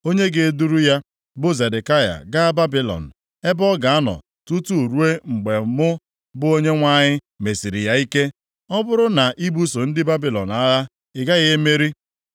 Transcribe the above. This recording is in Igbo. onye ga-eduru ya, bụ Zedekaya, gaa Babilọn, ebe ọ ga-anọ tutu ruo mgbe mụ, bụ Onyenwe anyị, mesiri ya ike. Ọ bụrụ na ibuso ndị Babilọn agha, ị gaghị emeri.’ ”